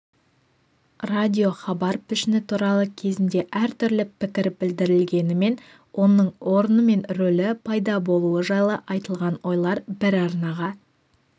радиохабар пішіні туралы кезінде әртүрлі пікір білдірілгенімен оның орны мен рөлі пайда болуы жайлы айтылған ойлар бір арнаға